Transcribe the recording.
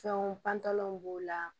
Fɛnw pantɔlanw b'o la